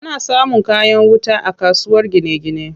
Ana samun kayan wuta a kasuwar gine gine.